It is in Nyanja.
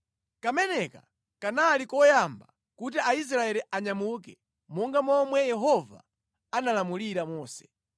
Kameneka kanali koyamba kuti Aisraeli anyamuke monga momwe Yehova analamulira Mose.